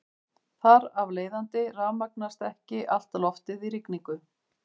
Þar af leiðandi rafmagnast ekki allt loftið í rigningu.